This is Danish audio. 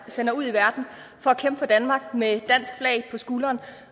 sender ud i verden for at kæmpe for danmark med et dansk flag på skulderen